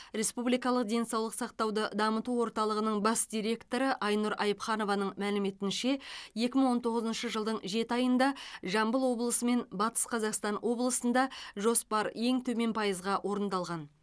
республикалық денсаулық сақтауды дамыту орталығының бас директоры айнұр айыпханованың мәліметінше екі мың он тоғызыншы жылдың жеті айында жамбыл облысы мен батыс қазақстан облысында жоспар ең төмен пайызға орындалған